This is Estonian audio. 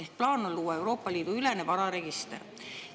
Ehk siis on plaan luua Euroopa Liidu ülene vararegister.